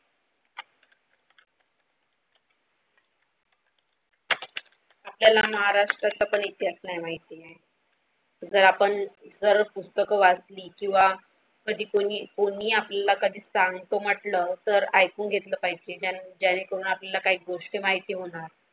आपल्याला महाराष्ट्राचेही इतिहास नाही माहिती आहे जर आपण जर असा पुस्तक वाचली किंवा कधी कोणी कोणी आपल्याला कधी सांगतो म्हटलं सर ऐकून घेतले पाहिजे त्या त्यांनी कोण आपल्याला काही गोष्ट माहिती होणार.